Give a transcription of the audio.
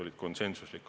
Ma tänan!